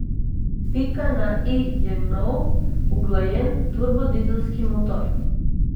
Pika na i je nov, uglajen turbodizelski motor.